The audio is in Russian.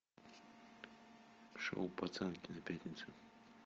шоу пацанки на пятнице